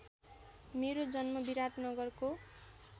मेरो जन्म विराटनगरको